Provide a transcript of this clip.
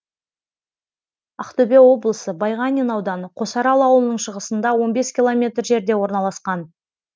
ақтөбе облысы байғанин ауданы қосарал ауылының шығысында он бес километр жерде орналасқан